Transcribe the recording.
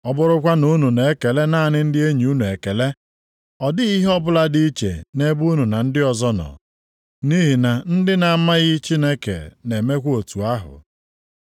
Ọ bụrụkwa na unu na-ekele naanị ndị enyi unu ekele, ọ dịghị ihe ọbụla dị iche nʼebe unu na ndị ọzọ nọ. Nʼihi na ndị na-amaghị Chineke na-emekwa otu ahụ.